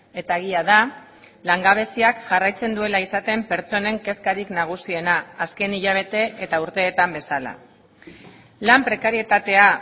eta egia da langabeziak jarraitzen duela izaten pertsonen kezkarik nagusiena azken hilabete eta urteetan bezala lan prekarietatea